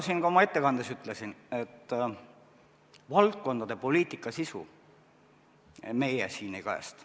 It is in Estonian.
Nagu ma ka oma ettekandes ütlesin, valdkondade poliitika sisu meie siin ei kajasta.